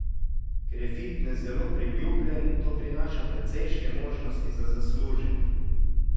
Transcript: Ker je fitnes zelo priljubljen, to prinaša precejšnje možnosti za zaslužek.